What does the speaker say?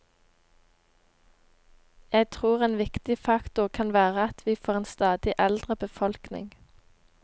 Jeg tror en viktig faktor kan være at vi får en stadig eldre befolkning.